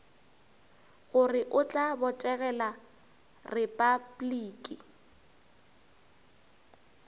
gore o tla botegela repabliki